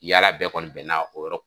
Yala bɛɛ kɔni bɛn na o yɔrɔ